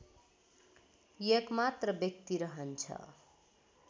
एकमात्र व्यक्ति रहन्छ